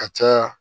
Ka caya